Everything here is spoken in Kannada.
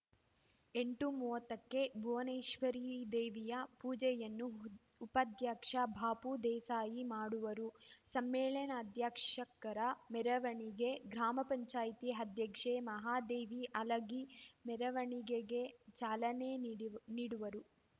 ಎಂಟು ಮೂವತ್ತಕ್ಕೆ ಭವನೇಶ್ವರಿ ದೇವಿಯ ಪೂಜೆಯನ್ನು ಉಪಾಧ್ಯಕ್ಷ ಬಾಪು ದೇಸಾಯಿ ಮಾಡುವರು ಸಮ್ಮೇಳನಾಧ್ಯಕ್ಷರ ಮೇರವಣಿಗೆ ಗ್ರಾಮ ಪಂಚಾಯತಿ ಅಧ್ಯಕ್ಷೆ ಮಹಾದೇವಿ ಹಲಗಿ ಮೇರವಣಿಗೆಗ ಚಾಲನೆ ನೀಡಿ ನೀಡುವರು